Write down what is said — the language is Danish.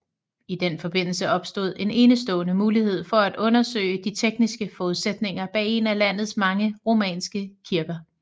I den forbindelse opstod en enestående mulighed for at undersøge de tekniske forudsætninger bag en af landets mange romanske kirker